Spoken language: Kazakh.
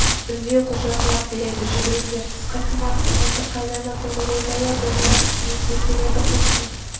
үйдей құлжа құлап келеді жүгіріңдер тысқа кім атты мылтық қайдан атылды ойбай-ау домалап үстімізге келеді қостың